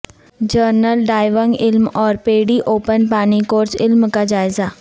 general diving علم اور PADI open پانی کورس علم کا جائزہ